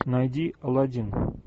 найди алладин